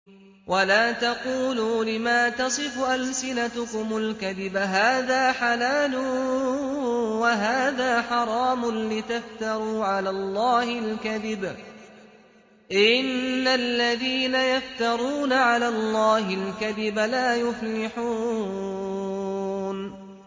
وَلَا تَقُولُوا لِمَا تَصِفُ أَلْسِنَتُكُمُ الْكَذِبَ هَٰذَا حَلَالٌ وَهَٰذَا حَرَامٌ لِّتَفْتَرُوا عَلَى اللَّهِ الْكَذِبَ ۚ إِنَّ الَّذِينَ يَفْتَرُونَ عَلَى اللَّهِ الْكَذِبَ لَا يُفْلِحُونَ